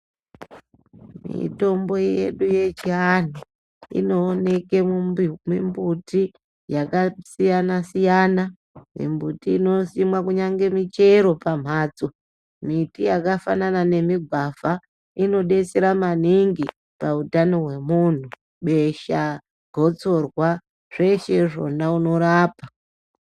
Mitombo yedu yechianhu inooneke mumbuti yakasiyanasiyana mimbuti inosimwa kunyange michero pamhatso miti yakafana nemigwavha inodetsera maningi pautano hwemunhu besha ,gotsorwa zveshe zvona unorapa.